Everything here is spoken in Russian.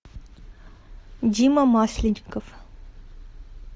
дима масленников